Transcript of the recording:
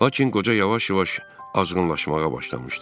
Lakin qoca yavaş-yavaş azğınlaşmağa başlamışdı.